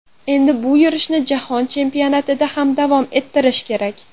Endi bu yurishni Jahon chempionatida ham davom ettirish kerak.